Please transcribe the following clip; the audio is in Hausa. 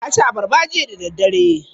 Na ci abarba jiya da daddare.